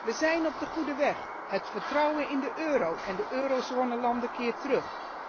Wij zijn op de goede weg, het vertrouwen in de euro en de eurozonelanden keert terug.